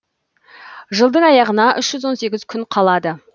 жылдың аяғына үш жүз он сегіз күн қалады